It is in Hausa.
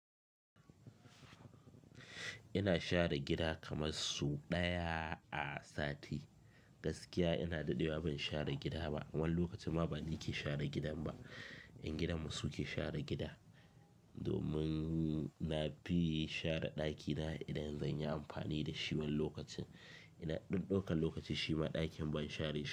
Ina share gida kamar su ɗaya a sati. Gaskiya ina daɗewa ban share gida ba. Wani lokacin ma ba ni ke share gidan ba, ƴan gidanmu su ke share gida. Domin na fi share ɗakina idan zan yi amfani da shi wan lokacin. Ina ɗokan lokaci shima ɗakin ban share shi.